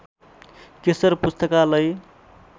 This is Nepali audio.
केशर पुस्तकालय